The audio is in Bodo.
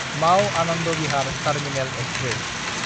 माव–आनन्द बिहार टार्मिनेल एक्सप्रेस